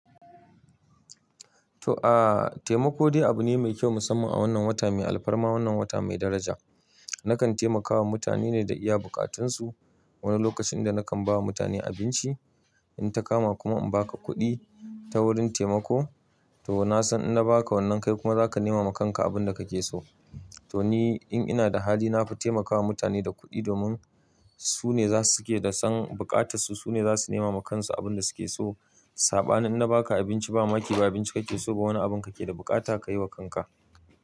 To aa taimako dai abu ne mai kyau musamman a wannan wata mai alfarma, wannan wata mai daraja. Nakan taimakawa mutane ne da iya buƙatunsu. Wani lokacin da nakan ba mutane abinci, in ta kama kuma in baka kuɗi ta wurin taimako to na san in na baka wannan kai kuma zaka nema ma kanka abun da kake so. To ni in ina da hali nafita taimakawa mutane da kuɗi domin su ne za su ke da san bukata su, su ne za su nema ma kansu abin da su ke so. Saɓani in na baka abinci ba mamaki ba abinci kake so ba wani abun kake da buƙata ka yi wa kanka.